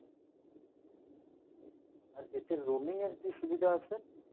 আর এতে roaming এর কী সুবিধা আছে?